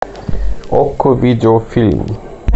окко видеофильм